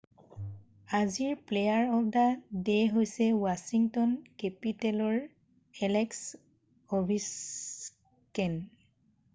আজিৰ player of the day হৈছে Washington কেপিটেলৰ এলেক্স অ'ভেছকিন৷